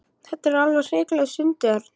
Þetta er alveg hrikalegt stundi Örn.